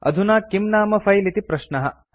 अधुना किं नाम फिले इति प्रश्नः